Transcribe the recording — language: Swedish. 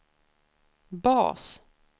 bas